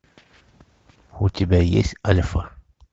у тебя есть альфа